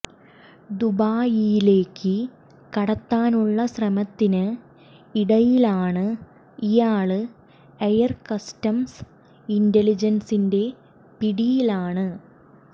ദുബായിയിലേക്ക് കടത്താനുള്ള ശ്രമത്തിന് ഇടയിലാണ് ഇയാള് എയര് കസ്റ്റംസ് ഇന്റലിജന്സിന്റെ പിടിയിലാണ്